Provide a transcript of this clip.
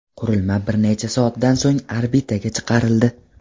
Qurilma bir necha soatdan so‘ng orbitaga chiqarildi.